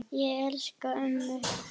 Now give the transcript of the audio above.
Ég elska ömmu.